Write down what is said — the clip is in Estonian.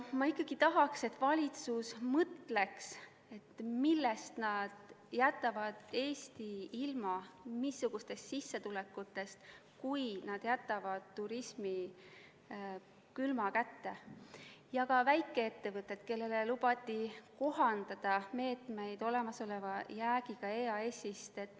Ma tahaks, et valitsus mõtleks, millest, missugustest sissetulekutest nad Eesti ilma jätavad, kui nad jätavad turismi külma kätte, samuti väikeettevõtted, kellele lubati kohandada meetmeid olemasoleva jäägiga EAS-ist.